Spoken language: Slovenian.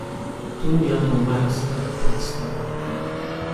To ni abonmajska predstava.